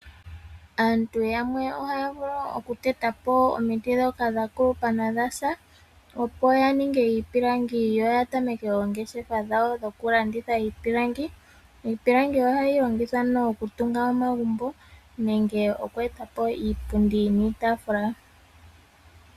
Aantu yamwe ohaya vulu okuteta po omiti dhoka dha kulupa na odhasa opo yaninge iipilangi yo yatameke oongeshefa dhawo dhokulanditha iipilangi. Iipilangi ohayi longithwa okutunga omagumbo nenge okueta po iipundi niitafula.